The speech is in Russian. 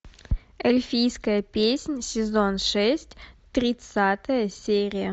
эльфийская песнь сезон шесть тридцатая серия